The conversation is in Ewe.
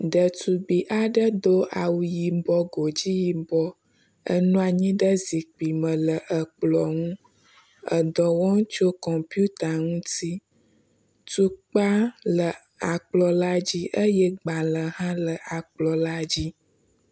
Ɖetugbi aɖe do awu yibɔ, godui yibɔ enɔ anyi ɖe zikpui me le ekplɔ̃ ŋu edɔ wɔm tso kɔmpita ŋuti. Atukpa le akplɔ̃ la dzi eye agbalẽ hã le akplɔ̃ la dzi.